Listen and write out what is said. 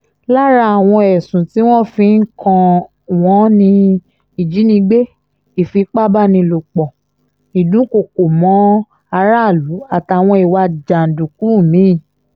lára àwọn ẹ̀sùn tí wọ́n fi ń kàn wọ́n ni ìjínigbé ìfipá-báni-lòpọ̀ ìdúnkooko mọ́ aráàlú àtàwọn ìwà jàǹdùkú mi-ín